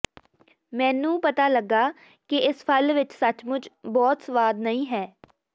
ਮੈਨੂੰ ਪਤਾ ਲੱਗਾ ਕਿ ਇਸ ਫਲ ਵਿਚ ਸੱਚਮੁੱਚ ਬਹੁਤ ਸੁਆਦ ਨਹੀਂ ਹੈ